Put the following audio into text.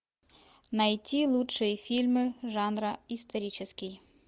найти лучшие фильмы жанра исторический